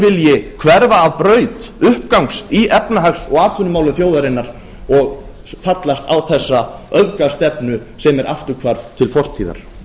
vilji hverfa af braut uppgangs í efnahags og atvinnumálum þjóðarinnar og fallast á þessa öfgastefnu sem er afturhvarf til fortíðar